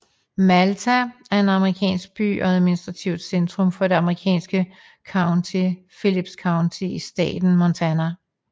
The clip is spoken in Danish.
Malta er en amerikansk by og administrativt centrum for det amerikanske county Phillips County i staten Montana